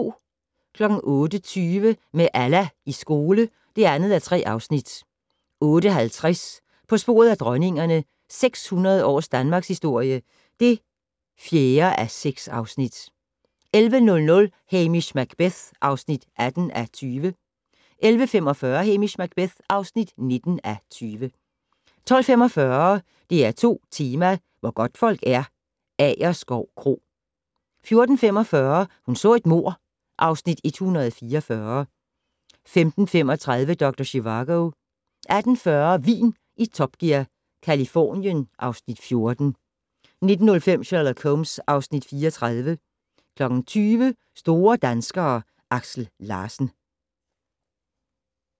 08:20: Med Allah i skole (2:3) 08:50: På sporet af dronningerne - 600 års danmarkshistorie (4:6) 11:00: Hamish Macbeth (18:20) 11:45: Hamish Macbeth (19:20) 12:45: DR2 Tema: Hvor godtfolk er - Agerskov Kro 14:45: Hun så et mord (Afs. 144) 15:35: Dr. Zhivago 18:40: Vin i Top Gear - Californien (Afs. 14) 19:05: Sherlock Holmes (Afs. 34) 20:00: Store danskere: Aksel Larsen